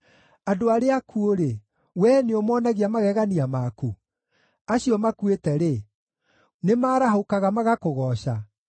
Andũ arĩa akuũ-rĩ, wee nĩũmonagia magegania maku? Acio makuĩte-rĩ, nĩmarahũkaga, magakũgooca?